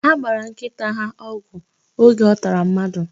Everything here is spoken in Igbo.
Ha gbara nkịta ha ọgwụ oge ọ tara mmadụ.